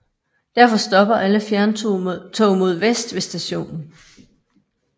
Derfor stopper alle fjerntog mod vest ved stationen